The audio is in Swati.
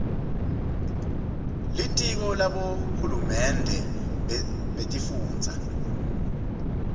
litiko labohulumende betifundza